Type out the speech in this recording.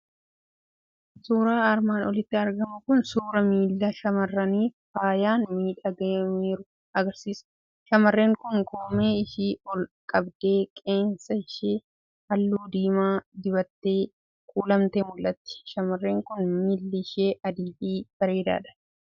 Suuraan armaan oliitti argamu kun suuraa miila shamarranii faayaan miidhagfameeru agarsiisa. Shamarreen kun koomee ishii ol qabdee, qeensa ishii halluu diimaa dibattee kuulamtee mul'atti. Shamarreen kun miilli ishii adii fi bareedaadha.